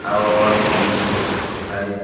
oro ow cement rok kujuk kujuk kai.